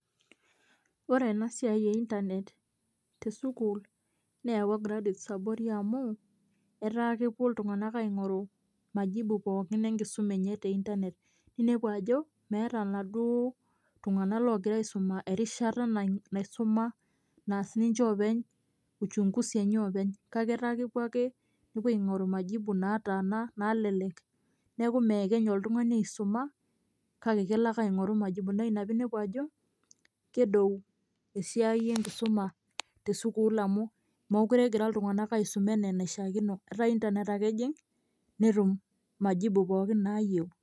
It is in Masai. Ore ena siai e internet te sukuul neyaua graduates abori amu etaa kepuo iltung'anak aing'oru majibu pookin enkisuma te internet ninepu ajo meeta ilaaduo itung'anak ogira aisuma te internet erishata naisuma naas ninche oopeny uchunguzi enye oopeny kake etaa kepuo ake nepuo aing'oru majibu naataana naalelek neeku meekenya oltung'ani aisuma kake kelo ake aing'oru majibu naa ina pee inepu ajo kedou esiai enkisuma te sukuul amu meekure egira iltung'anak aisuma enaa enaishiakino etaa internet ake ejing' netum majibu pookin naayieu.